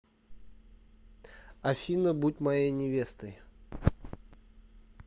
афина будь моей невестой